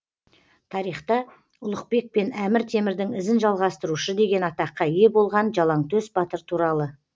тарихта ұлықбек пен әмір темірдің ізін жалғастырушы деген атаққа ие болған жалаңтөс батыр туралы